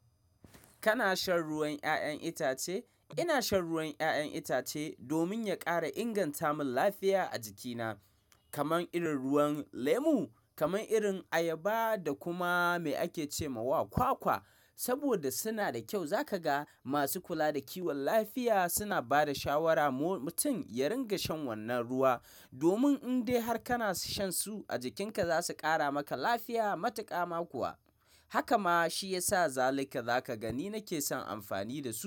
Kana shan ruwan ƴaƴan itace? Ina shan ruwan ƴaƴan itace domin ya ƙara inganta min lafiya a jikina. Kaman irin ruwan lemu, kaman irin ayaba da kuma me ake ce ma wa kwakwa. Saboda suna da kyau, za ka ga masu kula da kiwon lafiya suna ba da shawara mutum ya ringa shan wannan ruwa, domin in dai har kana shan su a jikinka za su ƙara maka lafiya matuƙa ma kuwa. Haka ma shi ya sa zalika za ka ga ni nake son amfani da su.